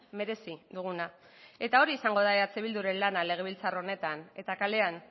merezi duguna eta hori izango da eh bilduren lana legebiltzar honetan eta kalean